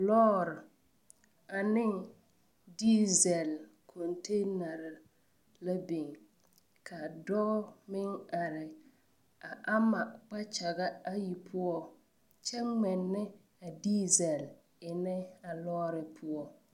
Lɔɔre ane diesel container la biŋ ka dɔɔ meŋ are a ama kpakyaga ayi poɔ kyɛ ŋmɛnnɛ a diesel eŋnɛ a lɔɔre poɔ.